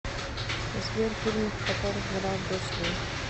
сбер фильмов в которых играл брюс ли